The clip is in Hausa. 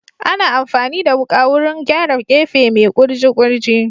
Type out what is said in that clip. Ana amfani da wuka wurin gyara gefe mai kurji kurji